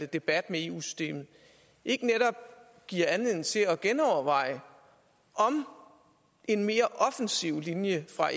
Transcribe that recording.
debat med eu systemet ikke netop giver anledning til at genoverveje om en mere offensiv linje fra